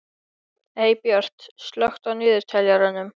Eybjört, slökktu á niðurteljaranum.